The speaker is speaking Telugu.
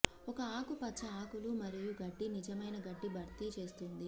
ఒక ఆకుపచ్చ ఆకులు మరియు గడ్డి నిజమైన గడ్డి భర్తీ చేస్తుంది